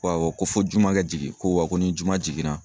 Ko awɔ ko fɔ juman ka jigin, ko wa ko ni juma jiginna